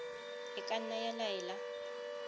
e ka nna ya laela